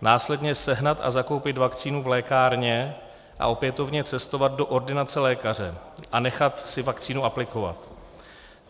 následně sehnat a zakoupit vakcínu v lékárně a opětovně cestovat do ordinace lékaře a nechat si vakcínu aplikovat.